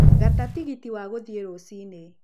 gata tigiti wa guthiĩ rũcinĩ